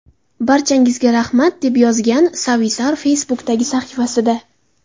Barchangizga rahmat!” deb yozgan Savisaar Facebook’dagi sahifasida.